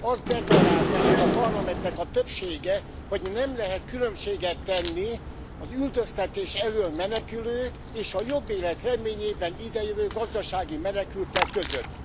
Azt deklarálta ennek a parlamentnek a többsége, hogy nem lehet különbséget tenni az üldöztetés elől menekülők és a jobb élet reményében ide jövő gazdasági menekültek között.